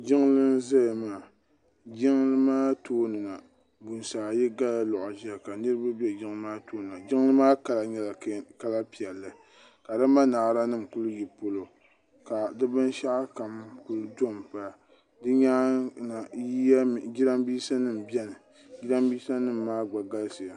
jiŋli n ʒɛya maa jiŋli maa tooni na buŋsi ayi gala loɣu ʒiya ka niraba bɛ jiŋli maa tooni na jiŋli maa kala nyɛla kala piɛlli ka di manaara nim ku yi polo ka di binshaɣu kam kuli tom bara di nyaanga jiranbiisa nim biɛni jiranbiisa nim maa gba galisiya